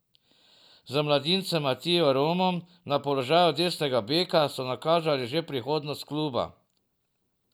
Z mladincem Matijo Romom na položaju desnega beka so nakazali že prihodnost kluba.